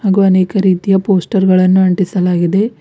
ಹಾಗೂ ಅನೇಕ ರೀತಿಯ ಪೋಸ್ಟರ್ ಗಳನ್ನು ಅಂಟಿಸಲಾಗಿದೆ.